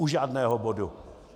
U žádného bodu.